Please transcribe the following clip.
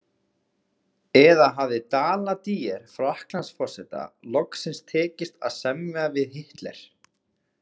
Eða hafði Daladier Frakklandsforseta loksins tekist að semja við Hitler?